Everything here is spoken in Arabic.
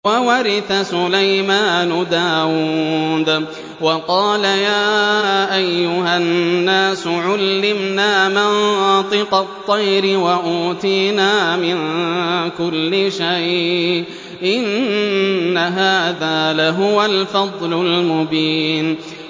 وَوَرِثَ سُلَيْمَانُ دَاوُودَ ۖ وَقَالَ يَا أَيُّهَا النَّاسُ عُلِّمْنَا مَنطِقَ الطَّيْرِ وَأُوتِينَا مِن كُلِّ شَيْءٍ ۖ إِنَّ هَٰذَا لَهُوَ الْفَضْلُ الْمُبِينُ